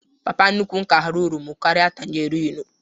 Papa nnukwu m ka họrọ oromo karịa tagerinu